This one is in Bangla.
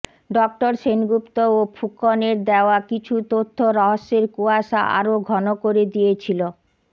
ডঃ সেনগুপ্ত ও ফুকনের দেওয়া কিছু তথ্য রহস্যের কুয়াশা আরও ঘন করে দিয়েছিল